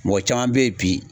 Mɔgɔ caman be ye bi